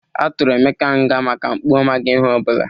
A tụrụ emeka nga maka mpụ ọ maghị ihe ọ bụla